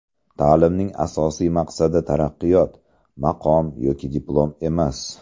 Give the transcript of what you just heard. Ta’limning asosiy maqsadi taraqqiyot, maqom yoki diplom emas.